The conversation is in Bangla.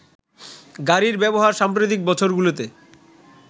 গাড়ির ব্যবহার সাম্প্রতিক বছরগুলোতে